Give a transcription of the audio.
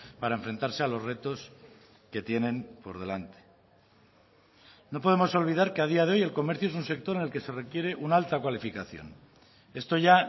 para enfrentarse a los retos que tienen por delante no podemos olvidar que a día de hoy el comercio es un sector en el que se requiere una alta cualificación esto ya